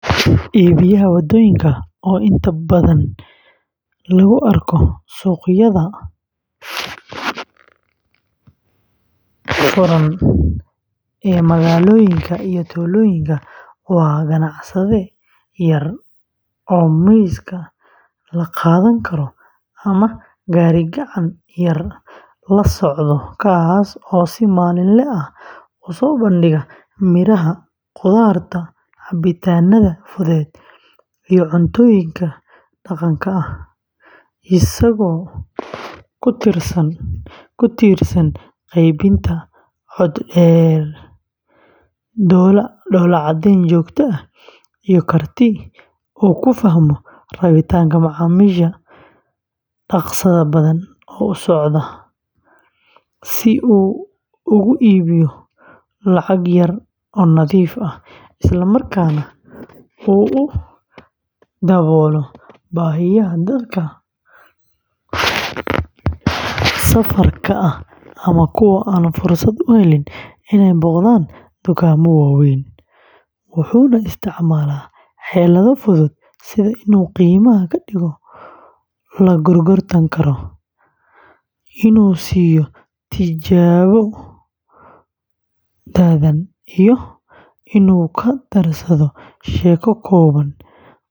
Iibiyaha waddooyinka, oo inta badan lagu arko suuqyada furan ee magaalooyinka iyo tuulooyinka, waa ganacsade yar oo miiska la qaadan karo ama gaari-gacan yar la socda, kaas oo si maalinle ah u soo bandhiga miraha, khudaarta, cabitaannada fudud, iyo cuntooyinka dhaqanka ah, isagoo ku tiirsan qaybinta cod dheer, dhoolla-caddayn joogto ah, iyo karti uu ku fahmo rabitaanka macaamiisha dhaqsaha badan u socda, si uu ugu iibiyo lacag yar oo nadiif ah, isla markaana uu u daboolo baahiyaha dadka safarka ah ama kuwa aan fursad u helin inay booqdaan dukaamo waaweyn, wuxuuna isticmaalaa xeelado fudud sida inuu qiimaha ka dhigo la gorgortan karo, inuu siiyo tijaabo dhadhan, iyo inuu ku darsado sheeko kooban oo kaftan ah.